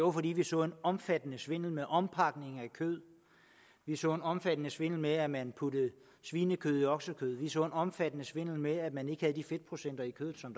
var fordi vi så en omfattende svindel med ompakning af kød vi så en omfattende svindel med at man puttede svinekød i oksekød vi så en omfattende svindel med at man ikke havde de fedtprocenter i kødet som